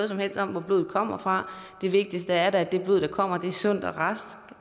som helst om hvor blodet kommer fra det vigtigste er da at det blod der kommer er sundt og rask